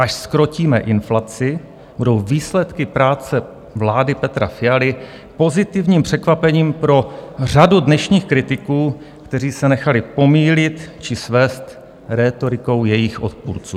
až zkrotíme inflaci, budou výsledky práce vlády Petra Fialy pozitivním překvapením pro řadu dnešních kritiků, kteří se nechali pomýlit či svést rétorikou jejích odpůrců.